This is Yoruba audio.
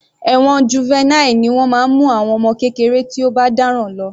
Ẹ̀wọ̀n Juvenile ni wọ́n máa ń mú àwọn ọmọ kékeré tí ó bá dáràn lọ.